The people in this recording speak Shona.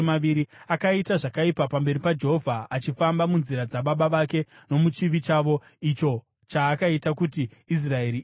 Akaita zvakaipa pamberi paJehovha, achifamba munzira dzababa vake nomuchivi chavo, icho chaakaita kuti Israeri iite.